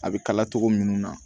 A bɛ kala togo minnu na